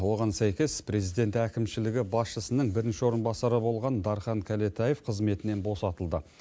оған сәйкес президент әкімшілігі басшысының бірінші орынбасары болған дархан кәлетаев қызметінен босатылды